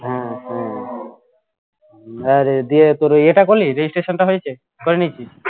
হম হম আরে দিয়ে তোর ওই ইয়েটা করলি registration টা হয়েছে